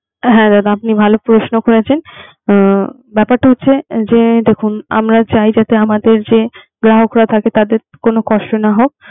হ্যা দাদা আপনি ভালো প্রশ্ন করেছেন। ব্যাপারটা হচ্ছে যে দেখুন আমরা চাই যে, যাতে আমদের যে গ্রাহকরা থাকে তাদের কোন কষ্ট না হোক